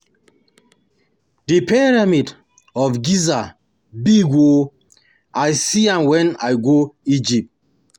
The pyramid of Giza big oo, I see am wen I go Egypt